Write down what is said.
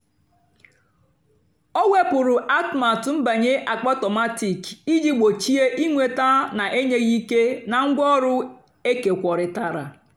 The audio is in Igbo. ọ́ wèpụ́rụ́ àtụ́matụ́ nbànyé àkpáàtómatị́k ìjì gbòchíé ị́nwètá nà-ènyéghị́ íkè nà ngwáọ̀rụ́ ékékwóritárá.